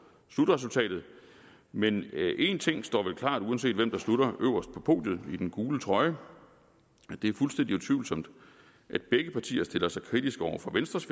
slutresultatet men én ting står vel klart uanset hvem der slutter øverst på podiet i den gule trøje det er fuldstændig utvivlsomt at begge partier stiller sig kritisk over for venstres